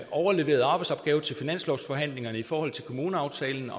overleveret arbejdsopgave til finanslovsforhandlingerne i forhold til kommuneaftalen